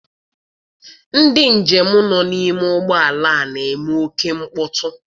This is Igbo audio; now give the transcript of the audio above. Ndị njem nọ n'ime ụgbọala a n'eme oké mkpọtụ.